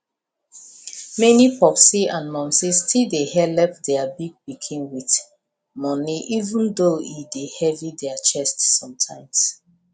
many popsi and momsi still dey helep their big pikin with money even though e dey heavy their chest sometimes